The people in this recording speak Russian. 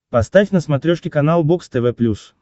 поставь на смотрешке канал бокс тв плюс